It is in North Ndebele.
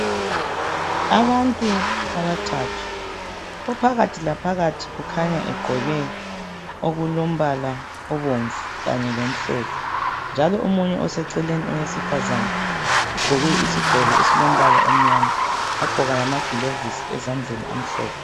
abantu abathathu ophakathi laphakathi kukhanya egqoke okulombala obumvu kanye lomhlophe njalo omunye oseceleni owesifazana ugqoke isigqokoesilombala omnyama wagqoka lama glovisi amhlophe.